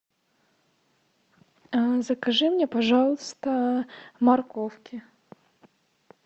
закажи мне пожалуйста морковки